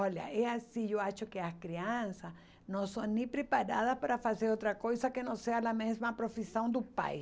Olha, é assim, eu acho que as crianças não são nem preparadas para fazer outra coisa que não seja a mesma profissão do pai.